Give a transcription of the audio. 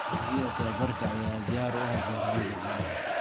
Adeegyada tababarka ayaa diyaar u ah beeralayda caanaha.